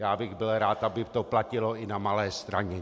Já bych byl rád, aby to platilo i na Malé Straně.